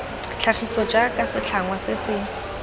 tlhagiso jaaka setlhangwa se se